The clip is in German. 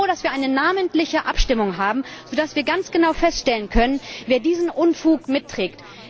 Aber ich bin froh, dass wir eine namentliche Abstimmung haben, so dass wir ganz genau feststellen können, wer diesen Unfug mitträgt.